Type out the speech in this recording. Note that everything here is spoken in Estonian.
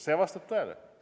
See vastab tõele.